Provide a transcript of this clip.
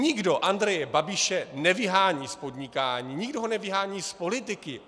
Nikdo Andreje Babiše nevyhání z podnikání, nikdo ho nevyhání z politiky.